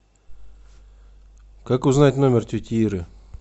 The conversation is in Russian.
как узнать номер тети иры